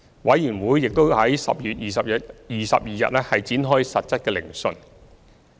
委員會已於10月22日展開實質聆訊。